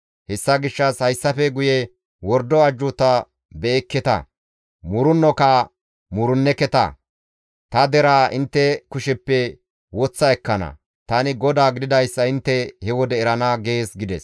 Hessa gishshas hayssafe guye wordo ajjuuta be7ekketa; muurennoka muurenneketa; ta deraa intte kusheppe woththa ekkana; tani GODAA gididayssa intte he wode erana› gees» gides.